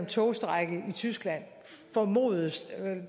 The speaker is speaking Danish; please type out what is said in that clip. togstrejke i tyskland og